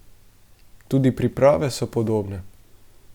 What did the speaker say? Tudi priprave so podobne.